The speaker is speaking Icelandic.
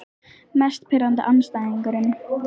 Mest pirrandi andstæðingurinn?